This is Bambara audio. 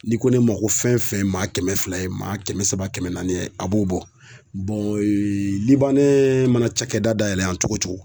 N'i ko ne ma ko fɛn fɛn ye maa kɛmɛ fila ye maa kɛmɛ saba kɛmɛ naani a b'o bɔ ne mana cakɛda dayɛlɛ yan cogo o cogo.